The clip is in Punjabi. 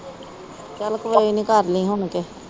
ਚਲ ਕੋਈ ਨੀ ਕਰ ਲੀ ਹੁਣ।